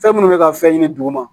Fɛn minnu bɛ ka fɛn ɲini duguma